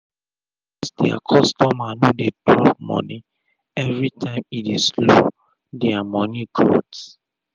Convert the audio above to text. becos dia customer no dey drop moni everi tym e dey slow dia moni growth